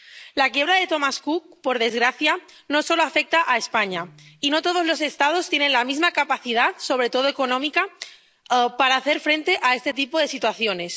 La quiebra de Thomas Cook, por desgracia, no solo afecta a España, y no todos los Estados tienen la misma capacidad, sobre todo económica, para hacer frente a este tipo de situaciones.